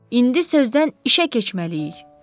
İndi sözdən işə keçməliyik.